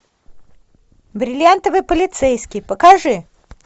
бриллиантовый полицейский покажи